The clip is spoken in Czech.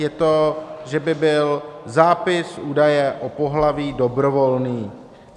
Je to, že by byl zápis údaje o pohlaví dobrovolný.